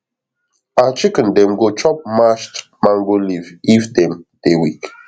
our chicken dem dey chop mashed mango leaf if dem dey weak